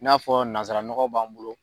I n'a fɔ nanzaraɔgɔ b'an bolo.